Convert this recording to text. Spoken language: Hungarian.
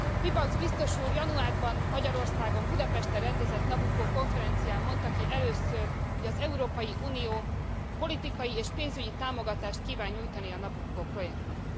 Pielbags biztos úr januárban, Magyarországon, Budapesten rendezett Nabucco konferencián mondta ki először, hogy az Európai Unió politikai és pénzügyi támogatást kíván nyújtani a Nabucco projektnek.